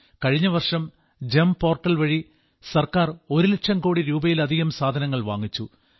കഴിഞ്ഞവർഷം GeM portal വഴി government ഒരുലക്ഷം കോടി രൂപയിലധികം സാധനങ്ങൾ വാങ്ങിച്ചു